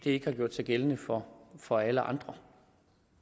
ikke gjort sig gældende for for alle andre